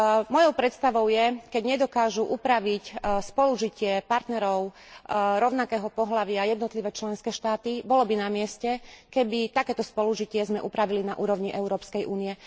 Mojou predstavou je, keď nedokážu upraviť spolužitie partnerov rovnakého pohlavia jednotlivé členské štáty, bolo by namieste, keby takéto spolužitie sme upravili na úrovni Európskej únie.